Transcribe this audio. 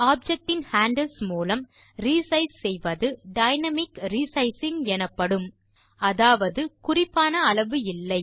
object இன் handles மூலம் resize செய்வது டைனாமிக் ரிசைசிங் எனப்படும் அதாவது குறிப்பான அளவு இல்லை